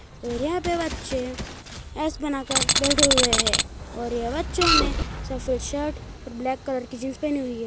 और यहां पर बच्चे एस बना कर बैठे हुए है और ये बच्चों ने सफेद शर्ट और ब्लैक कलर की जींस पहनी हुई है।